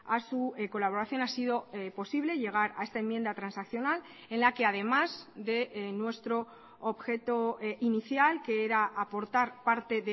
a su colaboración ha sido posible llegar a esta enmienda transaccional en la que además de nuestro objeto inicial que era aportar parte